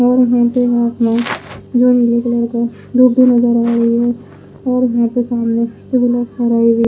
औरयहां पे आसमान जो नीले कलर का धूप भी नजर आ रही है और यहां पे सामने ला रही है।